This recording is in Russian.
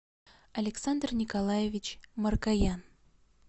александр николаевич маркоян